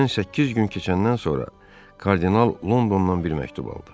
Üstündən səkkiz gün keçəndən sonra kardinal Londondan bir məktub aldı.